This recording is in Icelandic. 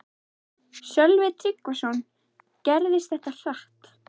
Sölvi Tryggvason: Gerðist þetta hratt?